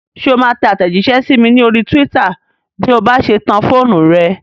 Ṣé o máa tẹ àtẹ̀jísẹ́ sí mi ní orí túwítà bí o bá ṣe tan fóònù rẹ?